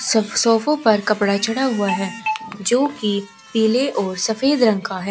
सोफों पर कपड़ा चढ़ा हुआ है जो की पीले और सफेद रंग का है।